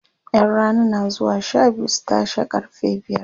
ƴan Rana na zuwa Sha biyu su tashe karfe biyar